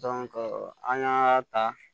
an y'a ta